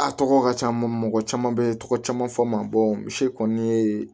A tɔgɔ ka ca mɔgɔ caman bɛ tɔgɔ caman fɔ n ma misi kɔni ye